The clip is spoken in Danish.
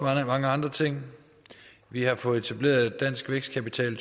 mange andre ting vi har fået etableret dansk vækstkapital